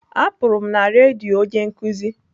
Apụrụ m na redio onye nkuzi.